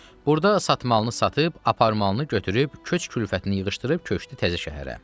Burda satmalını satıb, aparmalını götürüb, köç-kürfətini yığışdırıb köçdü təzə şəhərə.